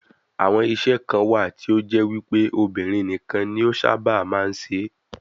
Àwọn iṣẹ́ kan wà tí ó jẹ́ wípé obìnrin nìkan ni ó sábà máa ń ṣe é.